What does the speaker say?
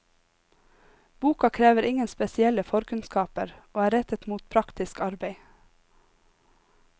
Boka krever ingen spesielle forkunnskaper, og er rettet mot praktisk arbeid.